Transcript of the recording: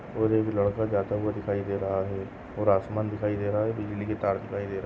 और एक लड़का जाता हुआ दिखाई दे रहा है और आसमान दिखाई दे रहा है बिजली के तार दिखाई दे रहा--